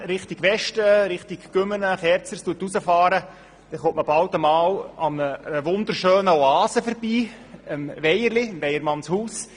Fährt man von Bern aus in Richtung Westen, dann kommt man bald einmal an einer wunderschönen Oase vorbei, dem «Weierli» oder Weyermannshaus.